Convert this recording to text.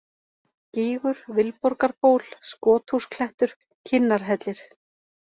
Gígur, Vilborgarból, Skothúsklettur, Kinnarhellir